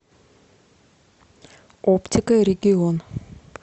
оптика регион